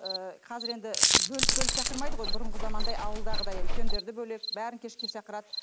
ыыы қазір енді бөліп бөліп шақырмайды ғой бұрынғы замандай ауылдағыдай үлкендерді бөлек бәрін кешке шақырады